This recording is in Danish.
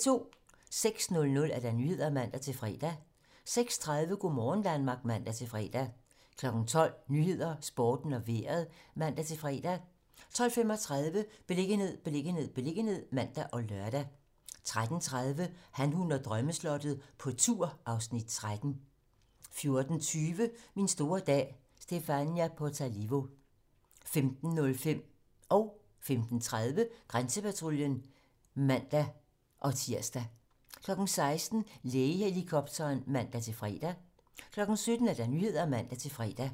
06:00: Nyhederne (man-fre) 06:30: Go' morgen Danmark (man-fre) 12:00: 12 Nyhederne, Sporten og Vejret (man-fre) 12:35: Beliggenhed, beliggenhed, beliggenhed (man og lør) 13:30: Han, hun og drømmeslottet - på tur (Afs. 13) 14:20: Min store dag - Stephania Potalivo 15:05: Grænsepatruljen (man-tir) 15:30: Grænsepatruljen (man-fre) 16:00: Lægehelikopteren (man-fre) 17:00: Nyhederne (man-fre)